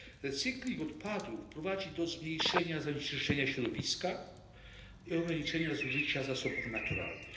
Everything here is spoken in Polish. Recykling odpadów prowadzi do zmniejszenia zanieczyszczenia środowiska i ograniczenia zużycia zasobów naturalnych.